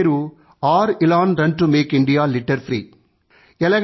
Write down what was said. ఈ మిషన్ పేరు R|Elan run to make India litter free